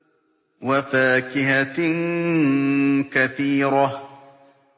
وَفَاكِهَةٍ كَثِيرَةٍ